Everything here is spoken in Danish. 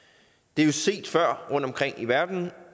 det er set før rundtomkring i verden